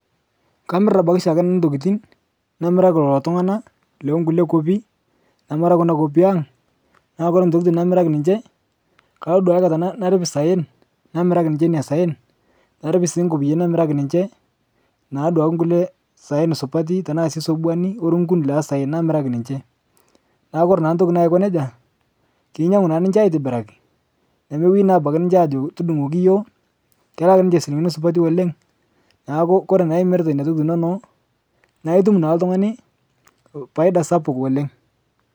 Kamir abaki shaake nanu ntokitin, namiraki lolo tung'ana lookule nkopi, namara kuna nkopi aang' naa kore ntokitin namiraki ninche, kalo duake aikata narip saen namiraki nince nena saen narip sii nkopiyiani namiraki ninche, naa duake nkule saen supati, tana sii sobouani o rungun lesaen namiraki ninche. naku kore naa ntoki naiko neja, keinyang'u naa ninche aitibiraki, nemeweni naa abaki ninche aajo tudung'oki yuo, kelak ninche silinkini supati oleng'. Naaku kore imirita neina tokitin inono, naa itum naa ltung'ani paida sapuk oleng'